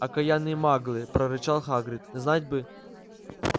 окаянные маглы прорычал хагрид знать бы